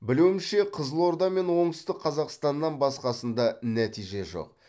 білуімше қызылорда мен оңтүстік қазақстаннан басқасында нәтиже жоқ